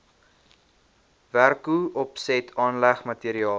werkopset aanleg materiaal